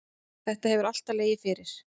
Þetta hefur alltaf legið fyrir.